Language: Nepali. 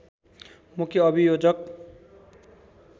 मुख्य अभियोजक